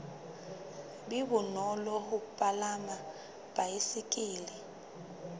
be bonolo ho palama baesekele